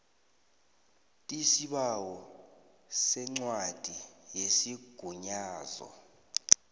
tisibawo sencwadi yesigunyazo